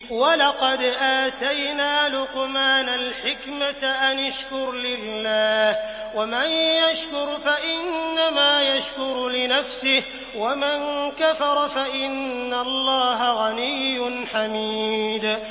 وَلَقَدْ آتَيْنَا لُقْمَانَ الْحِكْمَةَ أَنِ اشْكُرْ لِلَّهِ ۚ وَمَن يَشْكُرْ فَإِنَّمَا يَشْكُرُ لِنَفْسِهِ ۖ وَمَن كَفَرَ فَإِنَّ اللَّهَ غَنِيٌّ حَمِيدٌ